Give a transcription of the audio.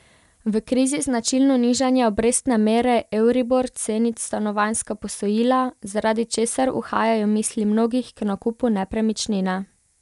V krizi značilno nižanje obrestne mere euribor ceni stanovanjska posojila, zaradi česar uhajajo misli mnogih k nakupu nepremičnine.